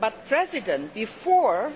But, before